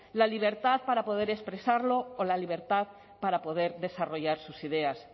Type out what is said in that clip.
la libertad para poder expresarlo o la libertad para poder desarrollar sus ideas